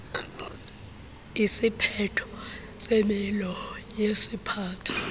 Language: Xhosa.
isiphetho semilo yesiphatho